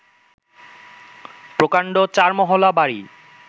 প্রকাণ্ড চারমহলা বাড়ি